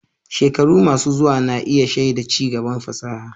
Shekaru masu zuwa na iya shaida ci gaban fasaha.